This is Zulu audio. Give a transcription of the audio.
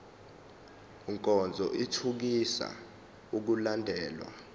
nkonzo ithuthukisa ukulandelwa